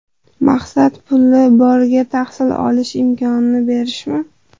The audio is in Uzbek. Maqsad puli borga tahsil olish imkonini berishmi?